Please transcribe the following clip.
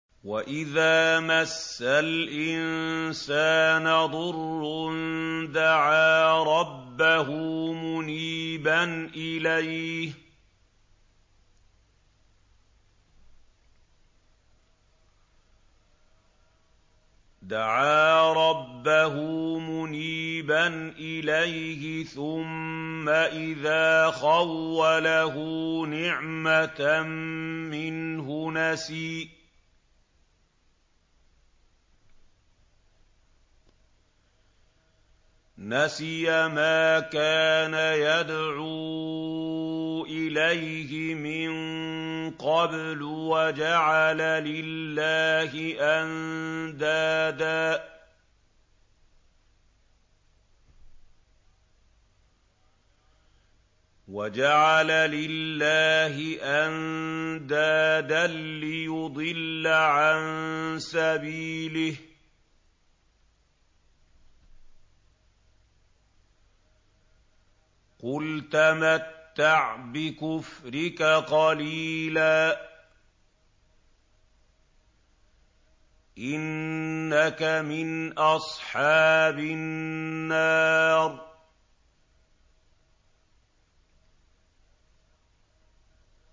۞ وَإِذَا مَسَّ الْإِنسَانَ ضُرٌّ دَعَا رَبَّهُ مُنِيبًا إِلَيْهِ ثُمَّ إِذَا خَوَّلَهُ نِعْمَةً مِّنْهُ نَسِيَ مَا كَانَ يَدْعُو إِلَيْهِ مِن قَبْلُ وَجَعَلَ لِلَّهِ أَندَادًا لِّيُضِلَّ عَن سَبِيلِهِ ۚ قُلْ تَمَتَّعْ بِكُفْرِكَ قَلِيلًا ۖ إِنَّكَ مِنْ أَصْحَابِ النَّارِ